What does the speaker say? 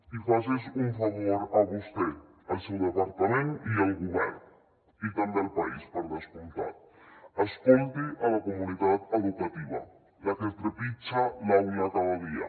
i faci’s un favor a vostè al seu departament i al govern i també al país per descomptat escolti la comunitat educativa la que trepitja l’aula cada dia